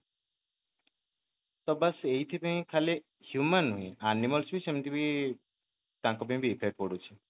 ତ ବାସ ଏଇଠି ପାଇଁ ଖାଲି human ହିଁ animals ବି ସେମିତି ବି ତାଙ୍କ ଉପରେ ବି effect ପଡୁଛି